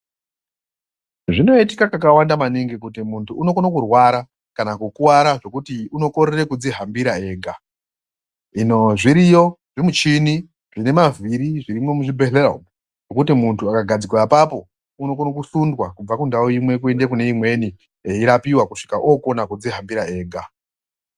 Zvinoitika kakawanda maningi kuti muntu unokono kurwara kana kukuvara zvekuti unokorere kudzihambira ega, hino zviriyo zvimuchini zvine mavhiri zvirimwo muchibhedhleya umu, zvekuti muntu akagadzikwa apapo, unokono kusundwa kubva kundau imwe kuende kune imweni eyirapiwa kusvika okona kudzihambira ega.